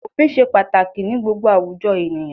Òfin ṣe pàtàkì ní gbogbo àwùjọ ènìyàn.